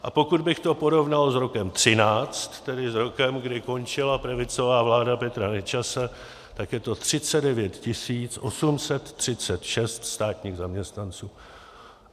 A pokud bych to porovnal s rokem 2013, tedy s rokem, kdy končila pravicová vláda Petra Nečase, tak je to 39 836 státních zaměstnanců.